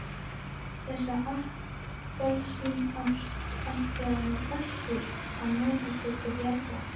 Þessa appelsínást ætlaði nú Össur að nota sér til bjargar.